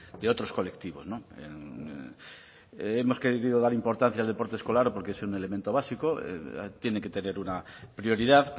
de otros colectivos no hemos querido dar importancia al deporte escolar porque es un elemento básico tiene que tener una prioridad